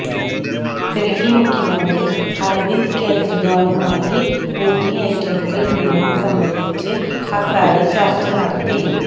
ഡല്ഹി മുഖ്യമന്ത്രി അരവിന്ദ് കെജ്രവാളുമായി ഭൂമി ഏറ്റെടുക്കല് നിയമം സംബന്ധിച്ച് ഹസാരെ ചര്ച്ച നടത്തി